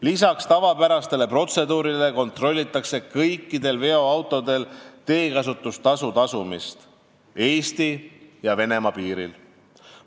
Lisaks tavapärastele protseduuridele kontrollitakse Eesti ja Venemaa piiril kõikide veoautode puhul, kas teekasutustasu on tasutud.